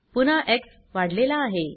पुन्हा एक्स वाढलेला आहे